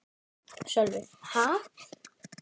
Sölvi: Ha?